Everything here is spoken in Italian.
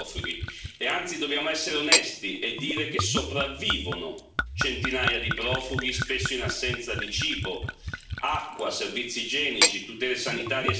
Anzi, dobbiamo essere onesti e dire che sopravvivono centinaia di profughi, spesso in assenza di cibo, acqua, servizi igienici, tutele sanitarie e sicurezza.